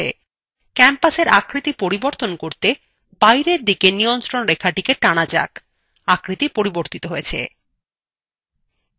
campusএর আকৃতি পরিবর্তন করতে বাহিরের দিকে নিয়ন্ত্রণ রেখা টানা যাক আকৃতি পরিবর্তিত হয়েছে!